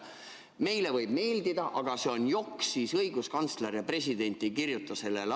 Meile võib see meeldida, see on JOKK, aga õiguskantsler ja president ei kirjuta sellele alla.